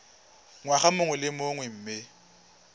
ngwaga mongwe le mongwe mme